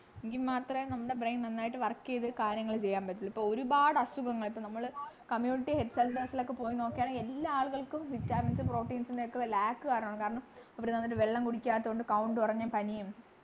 എങ്കിൽ മാത്രമേ നമ്മുടെ brain നന്നായിട്ട് work ചെയ്ത് കാര്യങ്ങൾ ചെയ്യാൻ പറ്റുലു ഇപ്പോ ഒരുപാട് അസുഖങ്ങൾ ഇപ്പൊ നമ്മൾ community health centre ൽ ഒക്കെ പോയി നോക്കിയാൽ എല്ലാ ആളുകൾക്കും vitamins proteins ൻ്റെ ഒക്കെ lack കാരണം കാരണം ഇവര് നന്നായിട്ട് വെള്ളം കുടിക്കാത്തതുകൊണ്ട് count കുറഞ്ഞു പനിയും